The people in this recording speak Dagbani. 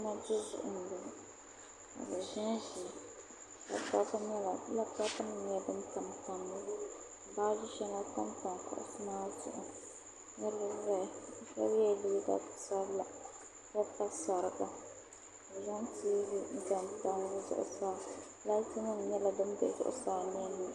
Tuma duzuɣu m-bɔŋɔ bɛ ʒinʒimi ka laputɔpunima nyɛla din tamtamya bachi shɛŋa pampa kuɣisi maa zuɣu niriba zaya shɛba yɛla liiga piɛla ka pa sariga ka bɛ zaŋ tiivi n-zaŋ tam bɛ zuɣusaa laatinima nyɛla din be zuɣusaa nenne